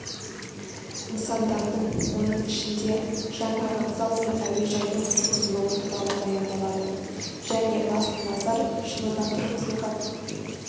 нысандардың оның ішінде жаңа вокзал мен әуежайдың тұрғызылуы туралы баяндалады және басты назар шыныдан тұрғызылған